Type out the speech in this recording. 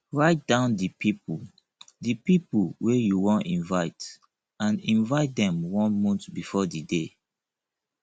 write down di pipo di pipo wey you won invite and invite dem one month before di day